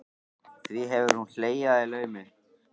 Því hefur hún hlegið að í laumi.